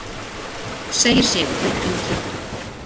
Segir Sigurður Ingi.